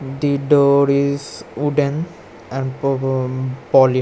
The door is wooden and po go polish.